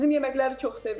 Bizim yeməkləri çox sevir.